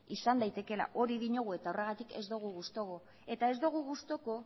izan daitekeela hori diogu eta horregatik ez dogu gustuko eta ez dugu gustuko